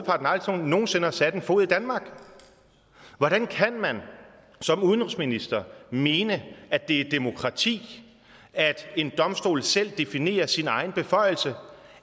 aldrig nogen sinde har sat en fod i danmark hvordan kan man som udenrigsminister mene at det er demokrati at en domstol selv definerer sine egne beføjelser